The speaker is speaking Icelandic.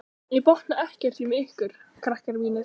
Ég botna ekkert í ykkur, krakkar mínir.